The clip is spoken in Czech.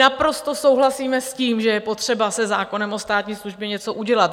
Naprosto souhlasíme s tím, že je potřeba se zákonem o státní službě něco udělat.